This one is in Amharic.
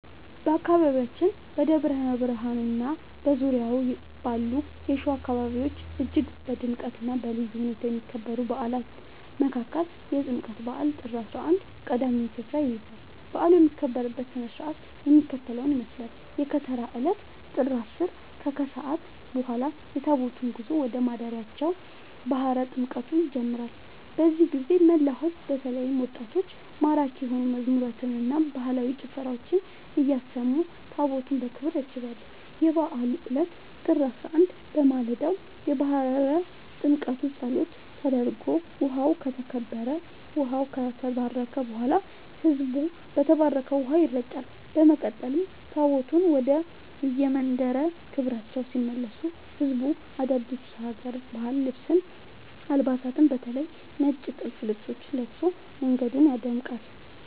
በአካባቢያችን በደብረ ብርሃንና በዙሪያው ባሉ የሸዋ አካባቢዎች እጅግ በድምቀትና በልዩ ሁኔታ ከሚከበሩ በዓላት መካከል የጥምቀት በዓል (ጥር 11) ቀዳሚውን ስፍራ ይይዛል። በዓሉ የሚከበርበት ሥነ ሥርዓት የሚከተለውን ይመስላል፦ የከተራ ዕለት (ጥር 10)፦ ከሰዓት በኋላ የታቦታቱ ጉዞ ወደ ማደሪያቸው (ባሕረ ጥምቀቱ) ይጀምራል። በዚህ ጊዜ መላው ሕዝብ በተለይም ወጣቶች ማራኪ የሆኑ መዝሙራትንና ባህላዊ ጭፈራዎችን እያሰሙ ታቦታቱን በክብር ያጅባሉ። የበዓሉ ዕለት (ጥር 11)፦ በማለዳው የባሕረ ጥምቀቱ ጸሎት ተደርጎ ውኃው ከተባረከ በኋላ፣ ሕዝቡ በተባረከው ውኃ ይረጫል። በመቀጠል ታቦታቱ ወደየመንበረ ክብራቸው ሲመለሱ ሕዝቡ አዳዲስ የሀገር ባህል አልባሳትን (በተለይ ነጭ ጥልፍ ልብሶችን) ለብሶ መንገዱን ያደምቃል።